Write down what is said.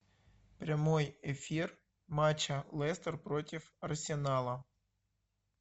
прямой эфир матча лестер против арсенала